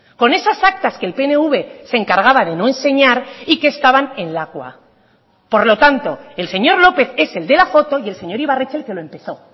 con esas actas que el pnv se encargaba de no enseñar y que estaban en lakua por lo tanto el señor lópez es el de la foto y el señor ibarretxe el que lo empezó